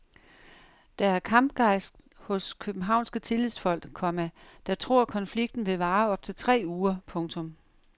Der er kampgejst hos københavnske tillidsfolk, komma der tror konflikten vil vare op til tre uger. punktum